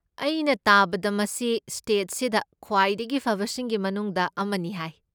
ꯑꯩꯅ ꯇꯥꯕꯗ ꯃꯁꯤ ꯁ꯭ꯇꯦꯠꯁꯤꯗ ꯈ꯭ꯋꯥꯏꯗꯒꯤ ꯐꯕꯁꯤꯡꯒꯤ ꯃꯅꯨꯡꯗ ꯑꯃꯅꯤ ꯍꯥꯏ꯫